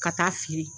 Ka taa fili